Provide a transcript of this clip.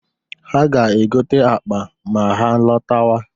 Ha ga-egote akpa ma ha lọtawa.